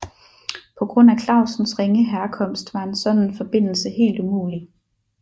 På grund af Clausens ringe herkomst var en sådan forbindelse helt umulig